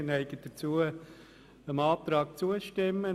Wir neigen dazu, dem Ordnungsantrag zuzustimmen.